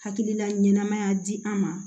Hakilila ɲɛnamaya di an ma